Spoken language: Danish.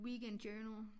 Weekend journal